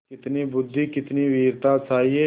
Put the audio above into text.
कितनी बुद्वि कितनी वीरता चाहिए